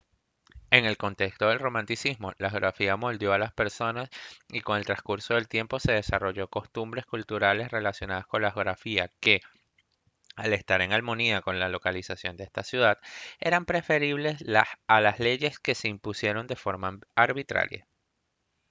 en el contexto del romanticismo la geografía moldeó a las personas y con el transcurso del tiempo se desarrollaron costumbres y culturas relacionadas con esa geografía que al estar en armonía con la localización de esa sociedad eran preferibles a leyes que se impusieran de forma arbitraria